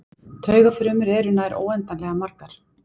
Taugafrumur eru nær óendanlega margar.